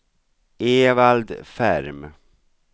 Evald Ferm